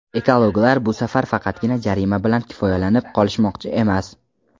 Ekologlar bu safar faqatgina jarima bilan kifoyalanib qolishmoqchi emas.